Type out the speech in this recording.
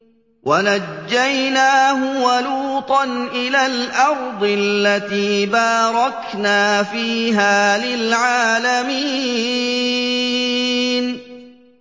وَنَجَّيْنَاهُ وَلُوطًا إِلَى الْأَرْضِ الَّتِي بَارَكْنَا فِيهَا لِلْعَالَمِينَ